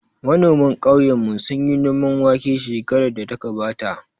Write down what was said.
Manoman ƙauyen mu sunyi noman wake shekarar da ta gabata